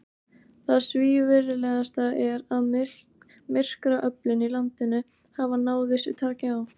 Það svívirðilegasta er, að myrkraöflin í landinu hafa náð vissu taki á.